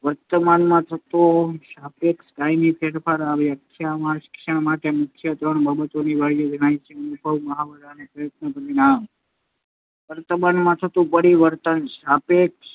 વર્તનમાં થતો સાપેક્ષ, કાયમી ફેરફાર. આ વ્યાખ્યામાં શિક્ષણ માટે મુખ્યત્વે ત્રણ બાબતો અનિવાર્ય જણાય છે. અનુભવ, મહાવરા કે પ્રયત્નનું પરિણામ વર્તનમાં થતું પરિવર્તન સાપેક્ષ